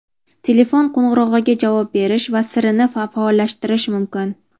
telefon qo‘ng‘irog‘iga javob berish va Siri’ni faollashtirish mumkin.